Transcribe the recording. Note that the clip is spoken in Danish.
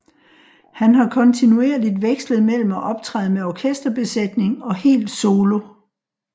Han har kontinuerligt vekslet mellem at optræde med orkesterbesætning og helt solo